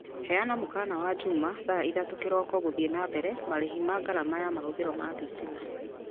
heana mũkaana wa njuma thaa ithatũ kĩroko gũthiĩ na mbere marĩhi ma ngarama ya mahũthĩrwo ma thitima